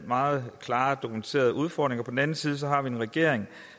meget klart dokumenterede udfordringer og på den anden side har vi en regering